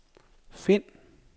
find